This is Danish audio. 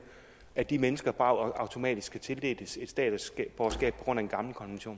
at de mennesker bare automatisk skal tildeles et statsborgerskab på grund af en gammel konvention